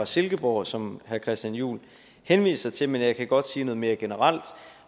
silkeborg som herre christian juhl henviser til men jeg kan godt sige noget mere generelt